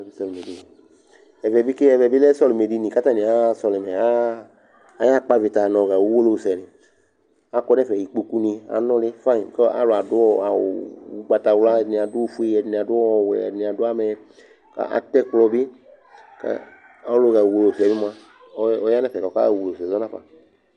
Ɛvɛ bɩ ke Ɛvɛ bɩ lɛ sɔlɩmɛdini kʋ atanɩ aɣa sɔlɩmɛ aɣa aɣa kpɔ avɩta nʋ ɔɣa uwolowusɛnɩ Akɔ nʋ ɛfɛ, ikpokunɩ anʋlɩ fayɩn kʋ ɔ alʋ adʋ awʋ ʋgbatawla, ɛdɩnɩ adʋ ofue, ɛdɩnɩ adʋ ɔwɛ, ɛdɩnɩ adʋ amɛ kʋ atɛ ɛkplɔ bɩ kʋ ɔlʋɣa uwolowusɛ yɛ mʋa, ɔya nʋ ɛfɛ kʋ ɔkaɣa uwolowusɛ zɔ nafa